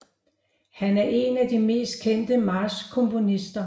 Han er en af de mest kendte marchkomponister